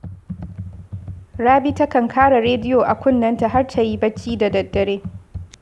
Rabi takan kara rediyo a kunnenta har ta yi barci da daddare